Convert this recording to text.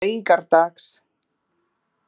laugardags